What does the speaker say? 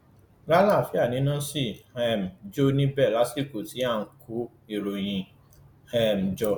lálàáfíà ni iná ṣì ń um jó níbẹ lásìkò tí à ń kó ìròyìn yìí um jó